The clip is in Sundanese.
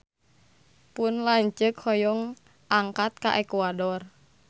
Pun lanceuk hoyong angkat ka Ekuador